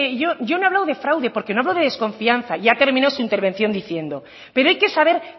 yo no he hablado de fraude porque no hablo de desconfianza y ha terminado su intervención diciendo pero hay que saber